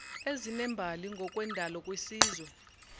ezinembali ngokwendalo kwisizwe